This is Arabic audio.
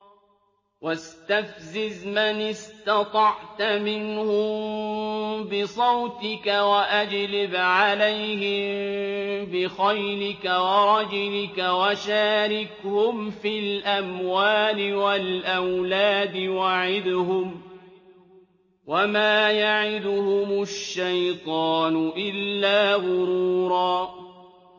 وَاسْتَفْزِزْ مَنِ اسْتَطَعْتَ مِنْهُم بِصَوْتِكَ وَأَجْلِبْ عَلَيْهِم بِخَيْلِكَ وَرَجِلِكَ وَشَارِكْهُمْ فِي الْأَمْوَالِ وَالْأَوْلَادِ وَعِدْهُمْ ۚ وَمَا يَعِدُهُمُ الشَّيْطَانُ إِلَّا غُرُورًا